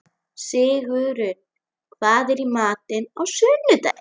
Sigurunn, hvað er í matinn á sunnudaginn?